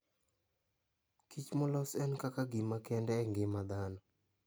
Kich molos en kaka gima kende e ngima dhano.